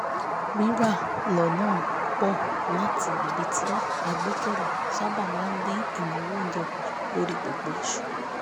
rírà lọ́nà pùpọ̀ láti ibi tí a gbẹ́kẹ̀lé sábà máa dín ináwó oúnjẹ kù lórí gbogbo oṣù